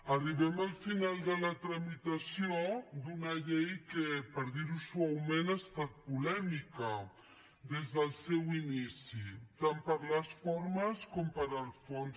arribem al final de la tramitació d’una llei que per dirho suaument ha estat polèmica des del seu inici tant per les formes com pel fons